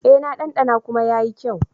E, na ɗanɗana kuma yayi kyau.